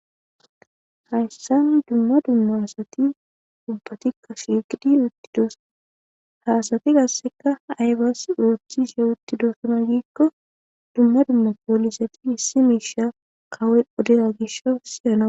hayssan dumma dumma asati ubbatikka shigidi uttidos haasati gasseka aybas uothchishe uttidossona giikko dumma dumma poolisati hissi miisha kawoy odeya gishosiyana